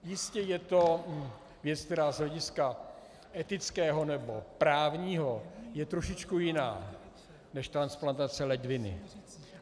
Jistě, je to věc, která z hlediska etického nebo právního je trošičku jiná než transplantace ledviny.